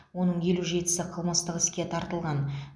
оның елу жетісі қылмыстық іске тартылған